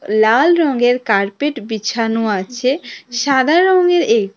লাল রংয়ের কার্পেট বিছানো আছে সাদা রঙের এই--